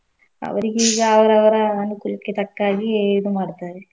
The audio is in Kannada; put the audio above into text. ಅವ್ರೀಗೀಗ ಅವ್ರ ಅವ್ರ ಅನ್ಕೂಲಕ್ಕೆ ತಕ್ಕಾಗೇ ಇದು ಮಾಡ್ತಾರೆ.